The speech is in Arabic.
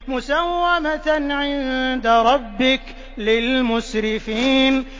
مُّسَوَّمَةً عِندَ رَبِّكَ لِلْمُسْرِفِينَ